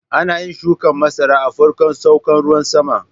Ana yin shukan masara a farkon saukan ruwan sama.